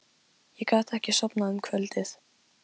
Ég gat ekki sofnað um kvöldið.